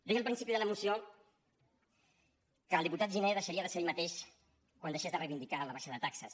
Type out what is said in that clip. deia al principi de la intervenció que el diputat giner deixaria de ser ell mateix quan deixés de reivindicar la baixada de taxes